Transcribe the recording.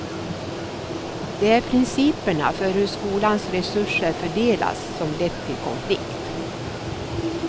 Det är principerna för hur skolans resurser fördelas som lett till konflikt.